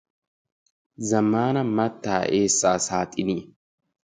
Zammaana mattaa eessaa saaxiniya.